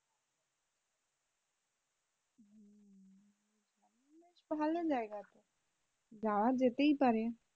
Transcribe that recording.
ভালো জায়গা তো যাওয়া যেতেই পারে।